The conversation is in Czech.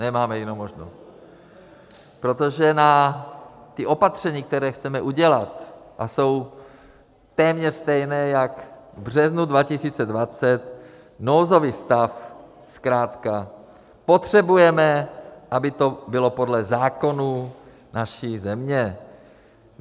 Nemáme jinou možnost, protože na ta opatření, která chceme udělat, a jsou téměř stejná jako v březnu 2020, nouzový stav zkrátka potřebujeme, aby to bylo podle zákonů naší země.